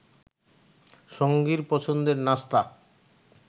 সঙ্গীর পছন্দের নাস্তা